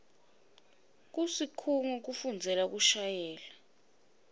kusikhungo sekufundzela kushayela